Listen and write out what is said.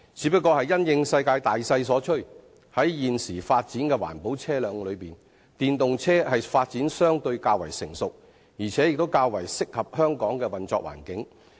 不過，因應世界大勢所趨，在現時各種環保車輛中，電動車的發展相對較為成熟，而且較為適合香港的環境。